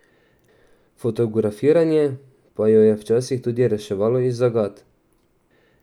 Fotografiranje pa jo je včasih tudi reševalo iz zagat.